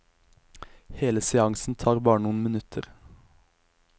Hele seansen tar bare noen minutter.